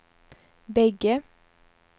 bägge